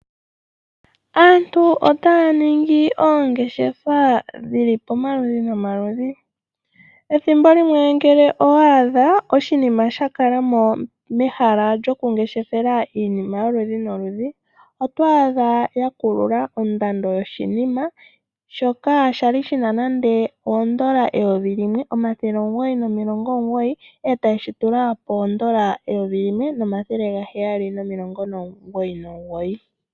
Aantu otaya ningi oongeshefa dhi li pomaludhi nomaludhi. Ethimbo limwe ngele owa adha oshinima sha kalamo mehala lyokungeshefela iinima yoludhi noludhi otoadha ya kulula ondando yoshinima shoka sha li shina nande oondola 1999 e taye shi tula poondola 1799.